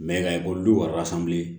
i ka ekɔlidenw wari san bilen